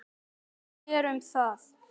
Guð sér um það.